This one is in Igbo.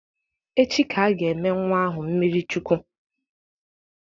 Echi ka a ga-eme nnwa ahụ mmiri Chukwu.